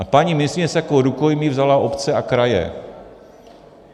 A paní ministryně si jako rukojmí vzala obce a kraje.